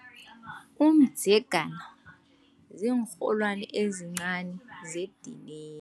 Umdzegana ziinrholwani ezincani zedini.